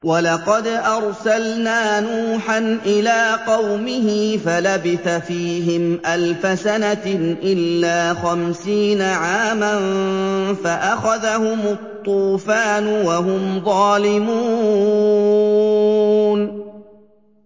وَلَقَدْ أَرْسَلْنَا نُوحًا إِلَىٰ قَوْمِهِ فَلَبِثَ فِيهِمْ أَلْفَ سَنَةٍ إِلَّا خَمْسِينَ عَامًا فَأَخَذَهُمُ الطُّوفَانُ وَهُمْ ظَالِمُونَ